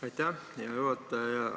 Aitäh, hea juhataja ja minister!